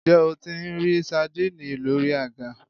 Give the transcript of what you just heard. Ǹjẹ́ o tí n rí sadínìnnì lórí àga?